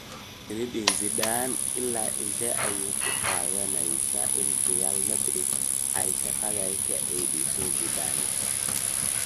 Zinedine Zidane: Ilaa intee ayay ku qaadanaysaa in Real Madrid ay shaqada ka caydhiso Zidane?